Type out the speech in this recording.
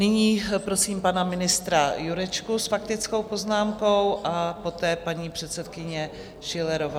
Nyní prosím pana ministra Jurečku s faktickou poznámkou a poté paní předsedkyně Schillerová.